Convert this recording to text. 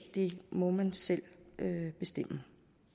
det må man selv bestemme